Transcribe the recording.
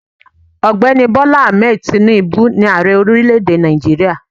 Ògbéni Bola Ahmed Tinubu ni Ààrẹ orílẹ̀ èdè Nàìjíríà